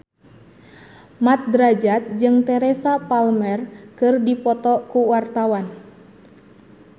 Mat Drajat jeung Teresa Palmer keur dipoto ku wartawan